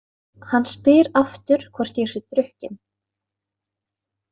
Hann spyr aftur hvort ég sé drukkin.